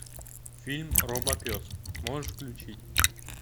фильм робопес можешь включить